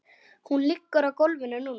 Hún liggur á gólfinu núna.